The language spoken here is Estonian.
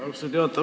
Austatud juhataja!